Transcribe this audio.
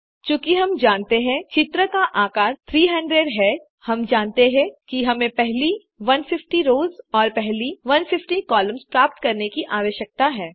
चूँकि हम जानते हैं चित्र का आकार 300 है हम जानते हैं कि हमें पहली 150 रोस और पहली 150 कॉलम्स प्राप्त करने की आवश्यकता है